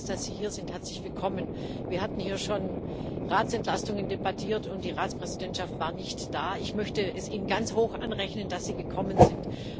Wir freuen uns, dass Sie hier sind Herzlich willkommen. Wir haben hier schon Ratsentlastungen debattiert, und die Ratspräsidentschaft war nicht da. Ich möchte es Ihnen ganz hoch anrechnen, dass Sie gekommen sind.